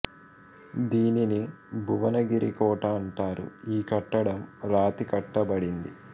దీనిని భువనగిరి కోట అంటారు ఈ కట్టడం రాతి కట్టబడింది